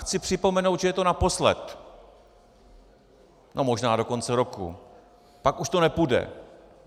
Chci připomenout, že je to naposled, no možná do konce roku, pak už to nepůjde.